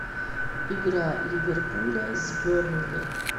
игра ливерпуля с бернли